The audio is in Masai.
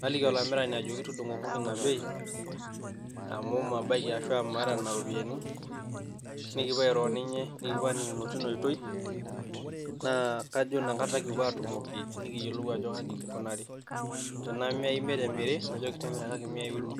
naliki olamirani aliki tudung'okoki ina bei ashu mabaiki ashu maata nena ropiani. Nikipuo airo o ninye nikipuo aaning'okino teina oitoi, naa kajo ina kata kipuo aatumokino nikiyolou ajo kaji king'unaari, tanaa miai imiet emiri najoki timirakaki imiai uni.